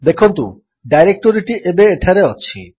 ଦେଖନ୍ତୁ ଡାଇରେକ୍ଟୋରୀଟି ଏବେ ଏଠାରେ ଅଛି